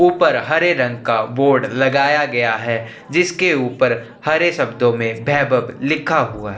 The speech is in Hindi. ऊपर हरे रंग का बोर्ड लगाया गया हैं जिसके ऊपर हरे शब्दो में वैभव लिखा हुआ है।